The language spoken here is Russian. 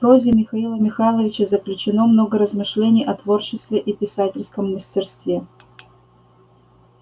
в прозе михаила михайловича заключено много размышлений о творчестве и писательском мастерстве